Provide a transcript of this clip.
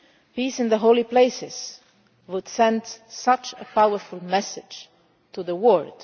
states. Peace in the holy places would send such a powerful message to